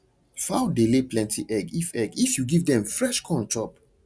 fowl dey lay plenty egg if egg if you give dem fresh corn chop